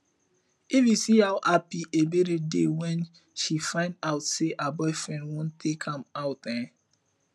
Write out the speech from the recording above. if you see how happy ebere dey when she find out say her boyfriend wan take am out eh